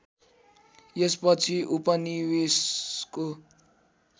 यस पछि उपनिवेशको